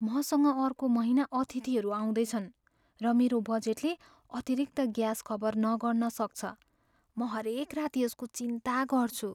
मसँग अर्को महिना अतिथिहरू आउँदैछन्, र मेरो बजेटले अतिरिक्त ग्यास कभर नगर्न सक्छ। म हरेक रात यसको चिन्ता गर्छु।